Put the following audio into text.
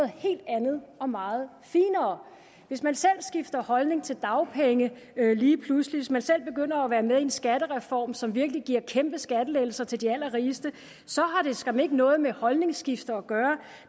helt andet og meget finere hvis man selv skifter holdning til dagpenge lige pludselig og hvis man selv begynder at være med i en skattereform som virkelig giver kæmpe skattelettelser til de allerrigeste så har det skam ikke noget med holdningsskifte at gøre